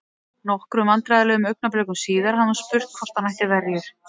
Nokkrum vandræðalegum augnablikum síðar hafði hún spurt hvort hann ætti verjur?